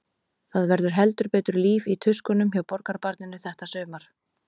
Það var heldur betur líf í tuskunum hjá borgarbarninu þetta sumar.